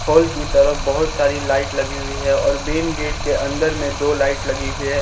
Hall की तरफ बहुत सारी लाइट लगी हुई है और मेन गेट के अंदर में दो लाइट लगी हुई है।